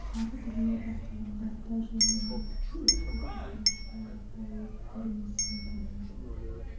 әртүрлі басылымдарда және мұражай өткізетін шараларда өз көрінісін табады